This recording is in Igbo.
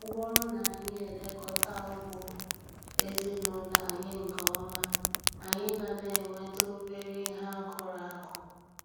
Ọ bụrụ na anyị elekọta ugbo ezinụlọ anyị nke ọma, anyị ga na-enweta obere ihe akụrụ akụ